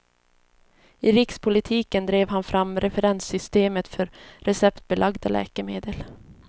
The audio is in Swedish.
I rikspolitiken drev han fram referenssystemet för receptbelagda läkemedel.